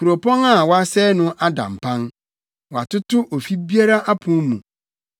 Kuropɔn a wɔasɛe no ada mpan; wɔatoto ofi biara apon mu.